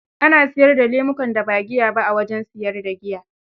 Ana siyar da lemukan da ba giya ba, a wajen siyar da giya.